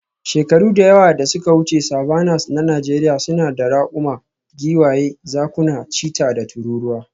Shekaru da yawa da suka wuce, savannas na Najeriya suna da raƙuma, giwaye, zakuna, cheetah, da tururuwa.